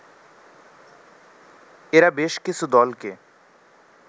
এরা বেশ কিছু দলকে